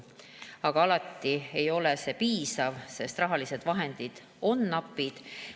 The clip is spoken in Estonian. Aga alati ei ole see piisav, sest rahalised vahendid on napid.